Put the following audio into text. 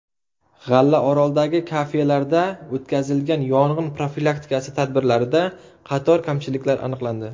G‘allaoroldagi kafelarda o‘tkazilgan yong‘in profilaktikasi tadbirlarida qator kamchiliklar aniqlandi.